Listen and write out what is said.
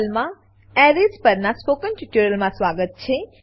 માં arrays arrays પરનાં spoken ટ્યુટોરીયલમાં સ્વાગત છે